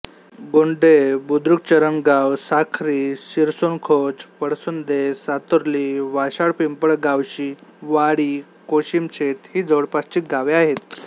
गोंडे बुद्रुकचरणगाव साखरी शिरसोणखोच पळसुंदे सातुर्ली वाशाळापिंपळगावशिवाळी कोशिमशेत ही जवळपासची गावे आहेत